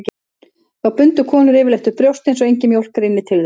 Þá bundu konur yfirleitt upp brjóstin svo engin mjólk rynni til þeirra.